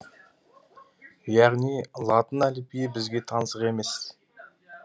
яғни латын әліпбиі бізге таңсық емес